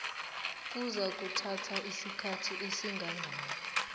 kuzakuthatha isikhathi esingangani